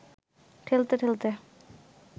ঠেলতে ঠেলতে